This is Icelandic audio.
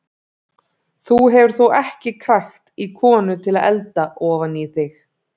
Þú hefur þó ekki krækt í konu til að elda ofan í þig?